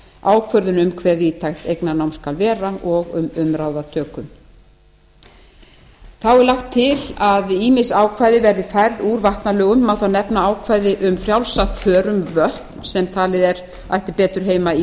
ákvörðun um hve víðtækt eignarnám skal vera og um umráðatöku þá er lagt til að ýmis ákvæði verði færð úr vatnalögum má þar nefna ákvæði um frjálsa för um vötn sem talið er að ættu betur heima í lögum